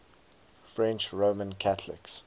french roman catholics